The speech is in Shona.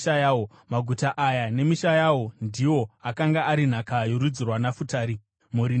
Maguta aya nemisha yawo ndiwo akanga ari nhaka yorudzi rwaNafutari, mhuri nemhuri.